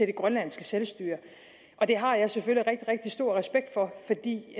det grønlandske selvstyre og det har jeg selvfølgelig rigtig stor respekt for for det